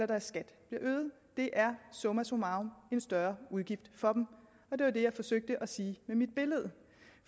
deres skat bliver øget det er summa summarum en større udgift for dem det var det jeg forsøgte at sige med mit billede